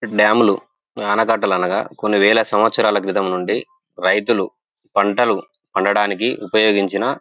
డ్యాములు ఆనకట్టలు అనగా కొన్ని వేల సంవత్సరాల క్రితం నుండి రైతులు పంటలు పండడానికి ఉపయోగించిన --